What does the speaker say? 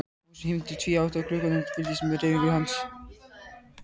Magnús hímdi tvíátta í glugganum og fylgdist með hreyfingum hans.